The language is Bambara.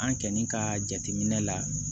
An kɛni ka jateminɛ la